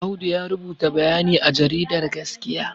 Audu ya rubuta bayani a jaridar gaskiya